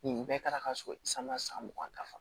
Nin bɛɛ kɛra ka so san san mugan dafa